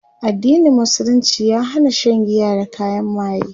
addinin musulunci ya Hana Shan giya da kayan maye